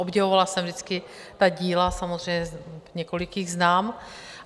Obdivovala jsem vždycky ta díla, samozřejmě několik jich znám.